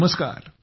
नमस्कार